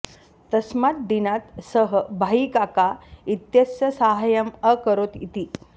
तस्मात् दिनात् सः भाईकाका इत्यस्य साहाय्यम् अकरोत् इति